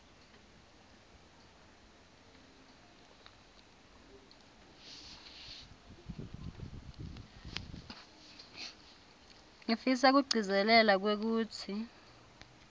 ngifisa kugcizelela kwekutsi